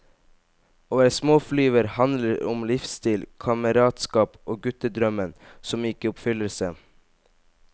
Å være småflyver handler om livsstil, kameratskap og guttedrømmen som gikk i oppfyllelse.